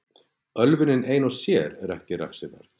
ölvunin ein og sér er ekki refsiverð